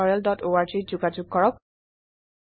আৰু বিস্তাৰিত জনাৰ বাবে contactspoken tutorialorg ত যোগযোগ কৰক